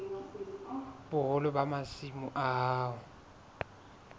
boholo ba masimo a hao